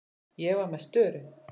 Ég var með störu.